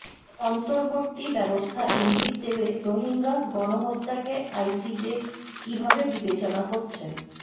অন্তর্বর্তী ব্যবস্থা ইঙ্গিত দেবে রোহিঙ্গা গণহত্যাকে আইসিজে কীভাবে বিবেচনা করছেন